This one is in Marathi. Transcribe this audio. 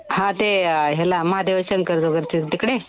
हा ते याला महादेव शंकरच वगैरेच तिकडे?